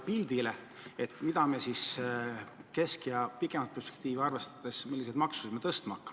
Milliseid makse keskpikka ja pikemat perspektiivi arvestades tõstma hakatakse?